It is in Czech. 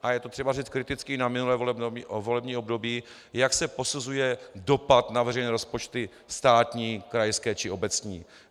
A je to třeba říct kriticky na minulé volební období, jak se posuzuje dopad na veřejné rozpočty státní, krajské či obecní.